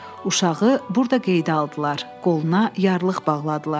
Uşağı burda qeydə aldılar, qoluna yarlıq bağladılar.